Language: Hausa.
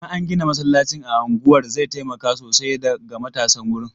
Idan an gina masallacin a unguwar zai taimaka sosai ga matasan wurin.